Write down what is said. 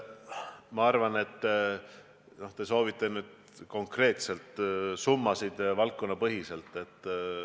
Ma arvan, et te soovite nüüd konkreetselt summasid valdkonnapõhiselt.